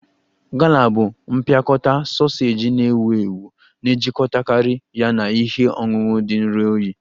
Gala bụ mpịakọta soseji na-ewu ewu na-ejikọtakarị ya na ihe ọṅụṅụ dị nro oyi